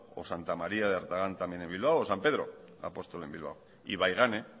o santa maría de artagán también en bilbao o san pedro apóstol en bilbao ibaigane